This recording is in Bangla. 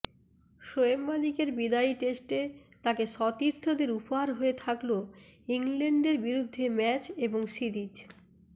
শোয়েব মালিকের বিদায়ী টেস্টে তাঁকে সতীর্থদের উপহার হয়ে থাকল ইংল্যান্ডের বিরুদ্ধে ম্যাচ এবং সিরিজ